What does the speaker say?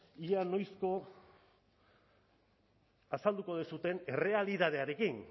ea noizko azalduko duzuen errealitatearekin